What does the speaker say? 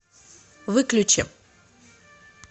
выключи